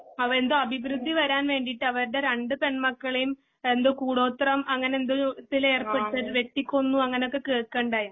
അവ എന്തോ അഭിവൃദ്ധി വരൻ വേണ്ടീട്ട് അവരുടെ രണ്ടു പെൺമക്കളെയും എന്തോ കൂടോത്രം അങ്ങനെ എന്തോത്തിലേർപ്പെടുത്തി വെട്ടിക്കൊന്നു അങ്ങനൊക്കെ കേക്കയുണ്ടായി